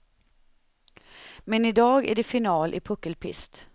Men idag är det final i puckelpist.